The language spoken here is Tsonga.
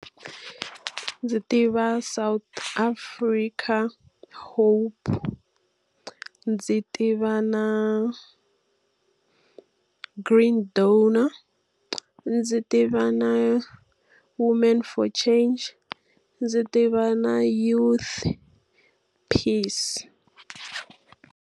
Ndzi tiva South Africa hope, ndzi tiva na Green Donor, ndzi tiva na Women For Change, ndzi tiva na Youth Peace.